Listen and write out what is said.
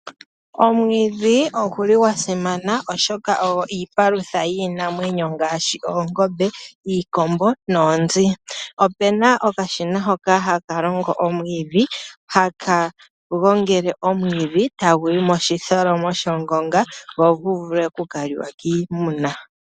Omwiidhi ogu li gwa simana oshoka ogo iipalutha yiinamwenyo ngaashi oongombe, iikombo noonzi. Opu na okashina hoka ha ka longo omwiidhi ha ka gongele omwiidhi e tagu yi moshitholomo shongonga gu vule okuka li wa kiimuna.